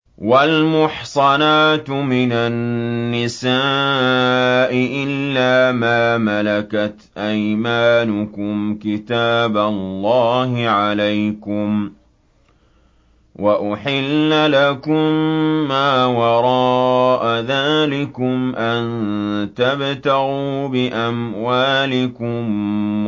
۞ وَالْمُحْصَنَاتُ مِنَ النِّسَاءِ إِلَّا مَا مَلَكَتْ أَيْمَانُكُمْ ۖ كِتَابَ اللَّهِ عَلَيْكُمْ ۚ وَأُحِلَّ لَكُم مَّا وَرَاءَ ذَٰلِكُمْ أَن تَبْتَغُوا بِأَمْوَالِكُم